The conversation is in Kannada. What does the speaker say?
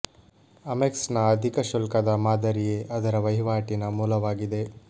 ಅಮೆಕ್ಸ್ ನ ಅಧಿಕ ಶುಲ್ಕದ ಮಾದರಿಯೇ ಅದರ ವಹಿವಾಟಿನ ಮೂಲವಾಗಿದೆ